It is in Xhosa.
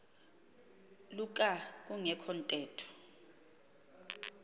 luka kungekho ntetho